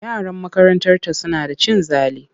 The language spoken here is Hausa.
Yaran makarantarta suna da cin zali.